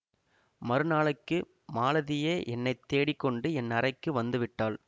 மறுநாளைக்கு மாலதியே என்னை தேடிக் கொண்டு என் அறைக்கு வந்து விட்டாள்